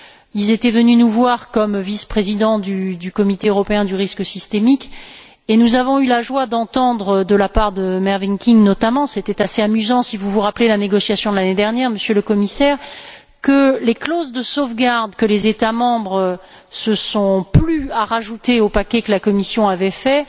Ils étaient venus nous voir en tant que vice présidents du comité européen du risque systémique et nous avons eu la joie d'entendre, de la part de Mervyn King notamment c'était assez amusant, si vous vous rappelez la négociation de l'année dernière, Monsieur le Commissaire que les clauses de sauvegarde que les États membres se sont plu à ajouter au paquet que la Commission avait fait